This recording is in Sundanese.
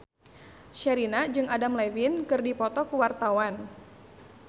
Sherina jeung Adam Levine keur dipoto ku wartawan